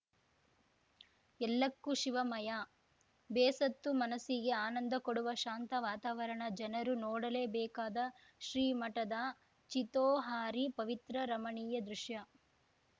ಎಲ್ಲಕ್ಕೂ ಶಿವಮಯ ಬೇಸತ್ತು ಮನಸಿಗೆ ಆನಂದ ಕೊಡುವ ಶಾಂತ ವಾತಾವರಣ ಜನರು ನೋಡಲೇಬೇಕಾದ ಶ್ರೀಮಠದ ಚಿತೋಹಾರಿ ಪವಿತ್ರ ರಮಣೀಯ ದೃಶ್ಯ